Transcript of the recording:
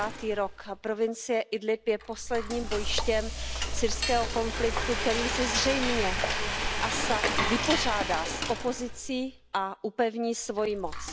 9. rok. Provincie Idlíb je posledním bojištěm syrského konfliktu, kterým se zřejmě Asad vypořádá s opozicí a upevní svoji moc.